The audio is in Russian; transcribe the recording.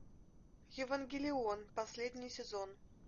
евангелион последний сезон